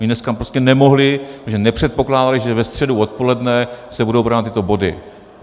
Oni dneska prostě nemohli, protože nepředpokládali, že ve středu odpoledne se budou brát tyto body.